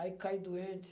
Aí caí doente.